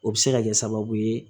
O bɛ se ka kɛ sababu ye